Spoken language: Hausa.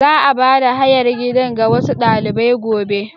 Za a bada hayar gidan ga wasu dalibai gobe.